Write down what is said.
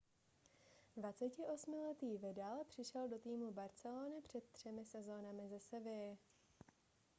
28letý vidal přišel do týmu barcelony před třemi sezónami ze sevilly